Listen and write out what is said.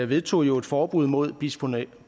vedtog jo et forbud mod bisfenol